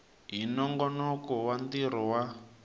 hi nongonoko wa ntirho wa